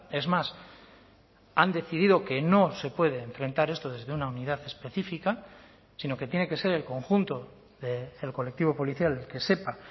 es más han decidido que no se puede enfrentar esto desde una unidad específica sino que tiene que ser el conjunto del colectivo policial el que sepa